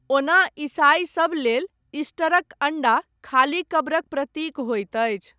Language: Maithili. ओना ईसाइ सब लेल, ईस्टरक अण्डा, खाली कब्रक प्रतीक होइत अछि।